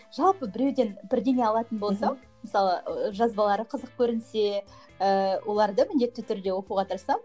жалпы біреуден бірдеңе алатын болсам мысалы ы жазбалары қызық көрінсе ыыы оларды міндетті түрде оқуға тырысамын